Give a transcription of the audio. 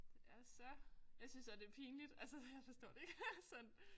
Det er så jeg synes også det pinligt altså jeg forstår det ikke sådan